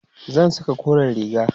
zan Saka koren riga